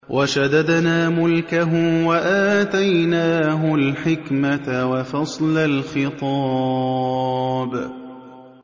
وَشَدَدْنَا مُلْكَهُ وَآتَيْنَاهُ الْحِكْمَةَ وَفَصْلَ الْخِطَابِ